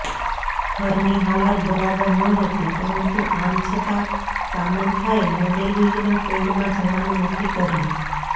ઘરની હાલત બરાબર નહતી પરંતુ આમ છતાં સામંથાએ મોડેલિંગના ફિલ્ડમાં જવાનું નક્કી કર્યું